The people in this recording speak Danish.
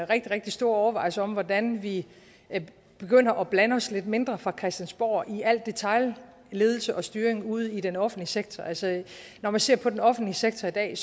rigtig rigtig store overvejelser om hvordan vi begynder at blande os lidt mindre fra christiansborgs side i al detailledelse og styring ude i den offentlige sektor altså når man ser på den offentlige sektor i dag er